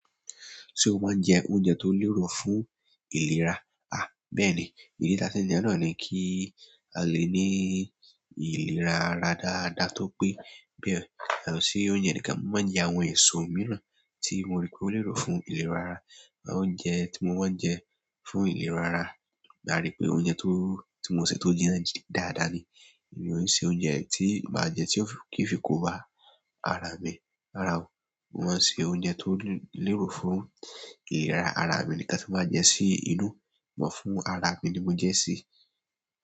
Ṣé o máa ń jẹ oúnjẹ tó lérò fún ìlera? À, bẹ́ẹ̀ ni, ìdí tá fi ń jẹun náà ni kí a lè ní ìlera ara dáadáa, tó pé be yàtọ̀ sí oúnjẹ níkan, mo má ń jẹ àwọn èso mìíràn tí mo rí pé ó lérò fún ìlera ara. Oúnjẹ tí mo máa ń jẹ fún ìlera ara, mo rí pé ó jẹ oúnjẹ tó, tí mo ṣẹ̀ tó jínà dáadáa ni. Mi o ṣe oúnjẹ tí má jẹ tí ń fi kó bá ara mi rárá o, mo máa ń ṣe oúnjẹ tí ó lérò fún ìlera ara mi ni nǹkan tí n bá jẹ sí inú arami ni mo jẹ sí.